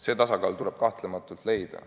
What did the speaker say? See tasakaal tuleb kahtlemata leida.